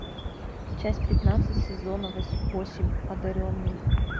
часть пятнадцать сезона восемь одаренный